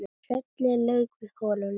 Trölli lauk við holuna